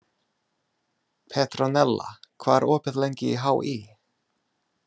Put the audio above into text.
Petronella, hvað er opið lengi í HÍ?